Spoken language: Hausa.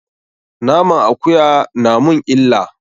Naman akuya na mun illa.